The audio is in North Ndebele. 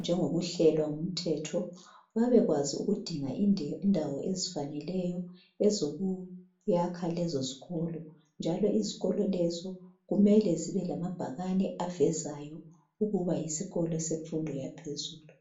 njengokuhlelwa ngumthetho , babekwazi lokudinga indawo ezifaneleyo ezokuyakha lezo zikolo, njalo izikolo lezo kumele zibe lamabhakane avezayo ukuba yisikolo semfundo yaphezulu.